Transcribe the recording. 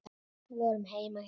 Við vorum heima hjá